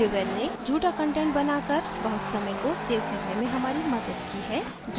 devel ने झूठा content बनाकर बहुत समय को सेव करने में हमारी मदद की है